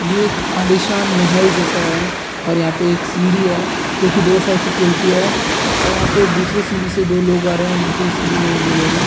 ये एक आलीशान मेहेल जैसा है और यहाँ पर एक सीढ़ी है जो की दो साइड से खुलती है और पर वहाँ एक दूसरे सीढ़ी से दो लोग आ रहें हैं और नीचे के सीढ़ी में एक-दो लोग हैं।